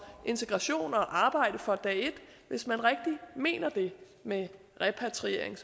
integration at arbejde fra dag et hvis man rigtig mener det med repatriering